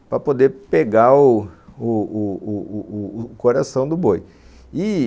para poder pegar o o o coração do boi. E,